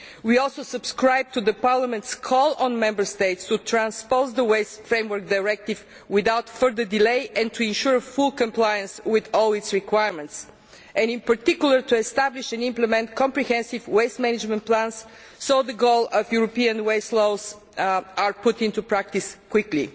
We also subscribe to Parliament's call on Member States to transpose the Waste Framework Directive without further delay and to ensure full compliance with all its requirements, and in particular to establish and implement comprehensive waste management plans so that the goal of European waste laws is put into practice quickly.